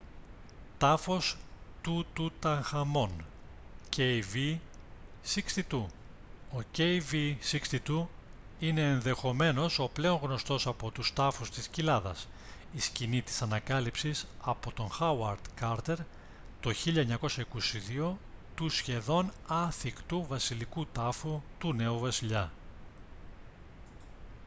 τάφος του τουταγχαμών kv62. ο kv62 είναι ενδεχομένως ο πλέον γνωστός από τους τάφους της κοιλάδας η σκηνή της ανακάλυψης από τον χάουαρντ κάρτερ το 1922 του σχεδόν άθικτου βασιλικού τάφου του νέου βασιλιά